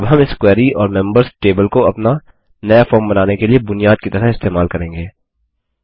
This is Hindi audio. अब हम इस क्वेरी और मेम्बर्स टेबल को अपना नया फॉर्म बनाने के लिए बुनियाद की तरह इस्तेमाल करेंगे